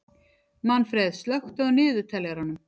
Manfreð, slökktu á niðurteljaranum.